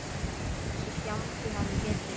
En þessi fjandi hafði betur.